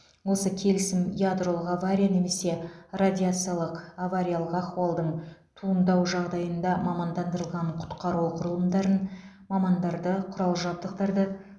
осы келісім ядролық авария немесе радиациялық авариялық ахуалдың туындау жағдайында мамандандырылған құтқару құрылымдарын мамандарды құрал жабдықтарды